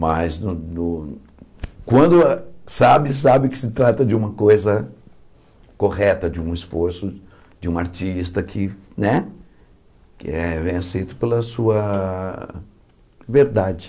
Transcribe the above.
Mas no no quando sabe, sabe que se trata de uma coisa correta, de um esforço, de um artista que né que é bem aceito pela sua verdade.